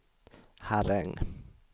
Herräng